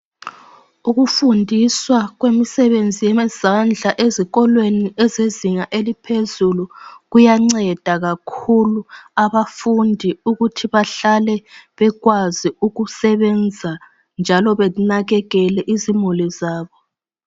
Ukufundiswa kwemisebenzi yemazandla ezinga eliphezulu kuyanceda kakhulu abafundi ukuthi bahlale bekwazi ukusebenza njalo banakekele izimuli zabo.